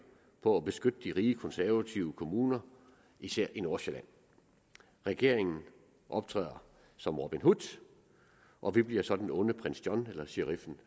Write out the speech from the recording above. på at beskytte de rige konservative kommuner især i nordsjælland regeringen optræder som robin hood og vi bliver så den onde prins john eller sheriffen